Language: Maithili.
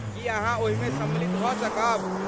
की अहाँ ओहिमे सम्मिलित भऽ सकब?